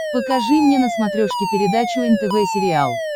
покажи мне на смотрешке передачу нтв сериал